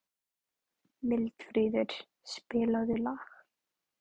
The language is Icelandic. Mildríður, spilaðu lag.